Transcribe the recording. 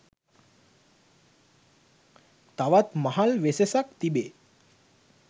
තවත් මහල් වෙසෙසක් තිබේ.